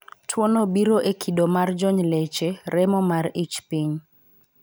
Tuo no biro e kido mar jony leche, remo mar ich piny,